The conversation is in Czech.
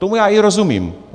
Tomu já i rozumím.